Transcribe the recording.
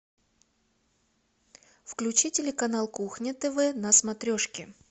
включи телеканал кухня тв на смотрешке